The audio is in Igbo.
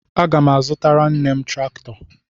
Aga m azụtara nne m traktọ.